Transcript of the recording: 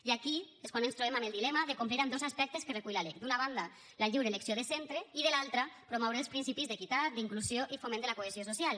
i aquí és quan ens trobem amb el dilema de complir amb dos aspectes que recull la lec d’una banda la lliure elecció de centre i de l’altra promoure els principis d’equitat d’inclusió i foment de la cohesió social